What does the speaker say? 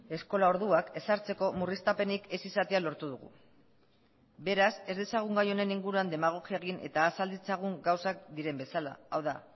eskola orduak ezartzeko murriztapenik ez izatea lortu dugu beraz ez dezagun gai honen inguruan demagogia egin eta azal ditzagun gauzak diren bezala hau da